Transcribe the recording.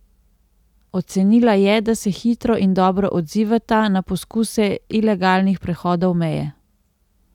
Ocenila je, da se hitro in dobro odzivata na poskuse ilegalnih prehodov meje.